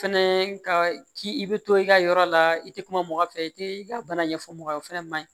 Fɛnɛ ka ci i bɛ to i ka yɔrɔ la i tɛ kuma mɔgɔ fɛ i tɛ i ka bana ɲɛfɔ mɔgɔ ye o fana ma ɲi